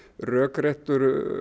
rökrétt